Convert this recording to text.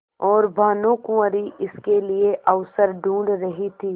और भानुकुँवरि इसके लिए अवसर ढूँढ़ रही थी